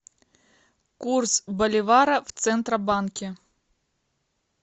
курс боливара в центробанке